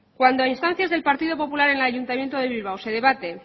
cuando a instancias del partido popular en el ayuntamiento de bilbao se debate